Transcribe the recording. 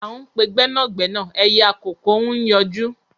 À ń pe gbẹ́nàgbẹ́nà ẹyẹ àkókó ń yọjú